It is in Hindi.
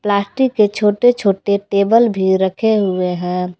प्लास्टिक के छोटे छोटे टेबल भी रखे हुए हैं।